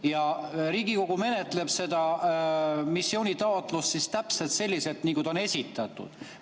Ja Riigikogu menetleb seda missioonitaotlust siis täpselt selliselt, nagu see on esitatud.